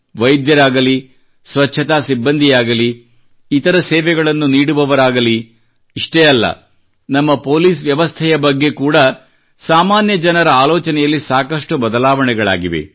ವೈದ್ಯರಾಗಲಿ ಸ್ವಚ್ಛತಾ ಸಿಬ್ಬಂದಿಯಾಗಲಿ ಇತರ ಸೇವೆಗಳನ್ನು ನೀಡುವವರಾಗಲಿ ಇಷ್ಟೇ ಅಲ್ಲ ನಮ್ಮ ಪೊಲೀಸ್ ವ್ಯವಸ್ಥೆಯ ಬಗ್ಗೆ ಕೂಡಾ ಸಾಮಾನ್ಯ ಜನರ ಆಲೋಚನೆಯಲ್ಲಿ ಸಾಕಷ್ಟು ಬದಲಾವಣೆಗಳಾಗಿವೆ